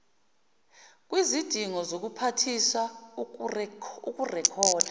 kwizidingo zobuphathiswa ukurekhoda